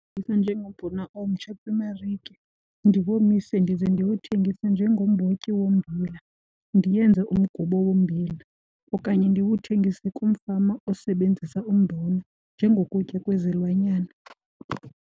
njengombona omtsha kwimarike, ndiwomise ndize ndiwuthengise njengombotyi wombila, ndiyenze umgubo wombila okanye ndiwuthengise kumfama osebenzisa umbona njengokutya kwezilwanyana.